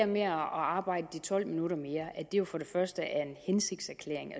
med at arbejde tolv minutter mere for det første er en hensigtserklæring